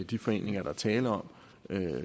de foreninger der er tale om